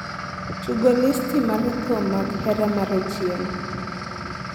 tugo listi mar thum mag hera mar otieno